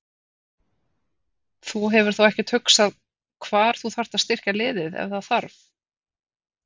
Þú hefur þá ekkert hugsað hvar þú þarft að styrkja liðið ef það þarf?